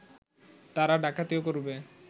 তারা ডাকাতিও করবে